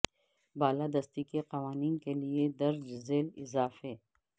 بالا دستی کے قوانین کے لئے درج ذیل اضافے